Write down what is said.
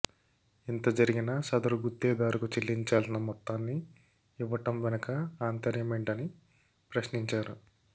ఇంతజరిగినా సదరు గుత్తేదారుకు చెల్లించాల్సిన మొత్తాన్ని ఇవ్వటం వెనుక ఆంతర్యమేంటని ప్రశ్నించారు